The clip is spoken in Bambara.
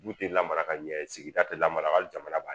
Du tɛ lamara ka ɲɛ sigida tɛ lamarali jamana b'a